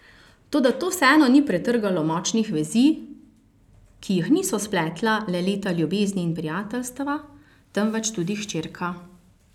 Toda to vseeno ni pretrgalo močnih vezi, ki jih niso spletla le leta ljubezni in prijateljstva, temveč tudi hčerka.